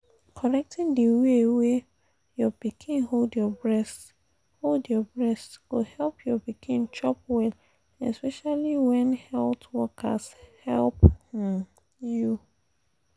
correcting the way wey your pikin hold your breast hold your breast go help your pikin chop well especially when health workers help um you.